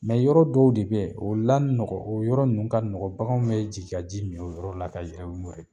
yɔrɔ dɔw de bɛ o la nɔgɔn yɔrɔ ninnu ka nɔgɔn bagan bɛ jigi ka ji min o yɔrɔ la ka u yɛrɛ ye.